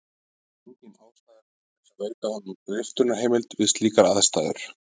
Engin ástæða er til þess að veita honum riftunarheimild við slíkar aðstæður.